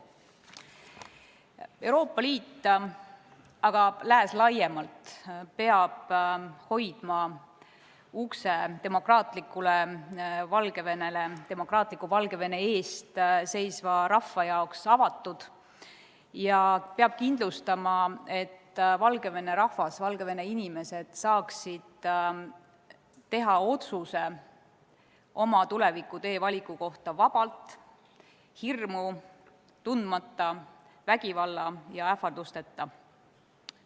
Euroopa Liit ja Lääs laiemalt peavad hoidma ukse demokraatlikule Valgevenele, demokraatliku Valgevene eest seisvale rahvale avatuna ning kindlustama, et Valgevene rahvas, sealsed inimesed saaksid teha otsuse oma tulevikutee valiku kohta vabalt, hirmu tundmata, vägivalla ja ähvardusteta.